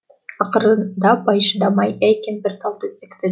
ақырында бай шыдамай әй кемпір сал төсекті